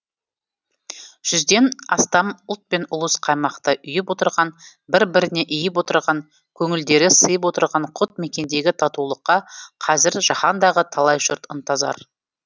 жүзден астам ұлт пен ұлыс қаймақтай ұйып отырған бір біріне иіп отырған көңілдері сыйып отырған құт мекендегі татулыққа қазір жаһандағы талай жұрт ынтазар